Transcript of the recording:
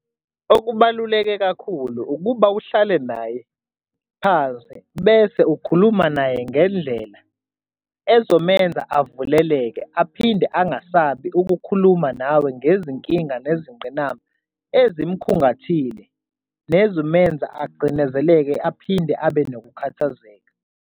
Okubaluleke kakhulu ukuba uhlale naye phansi bese ukhuluma naye ngendlela ezomenza avuleleke aphinde angasabi ukukhuluma nawe ngezinkinga nezingqinamba emzimkhungathile nezimenza acindezeleke aphinde abe nokukhathazeka.